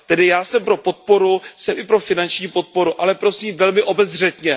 Tedy já jsem pro podporu, jsem i pro finanční podporu, ale prosím velmi obezřetně.